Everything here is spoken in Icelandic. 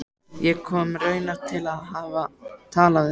Ég kom raunar til að hafa tal af þér.